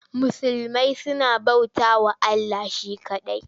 Musulmai suna bautawa Allah she kaɗai.